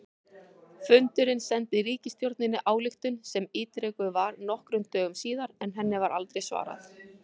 Fundurinn sendi ríkisstjórninni ályktun sem ítrekuð var nokkrum dögum síðar, en henni var aldrei svarað.